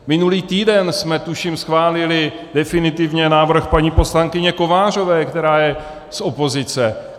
Minulý týden jsme, tuším, schválili definitivně návrh paní poslankyně Kovářové, která je z opozice.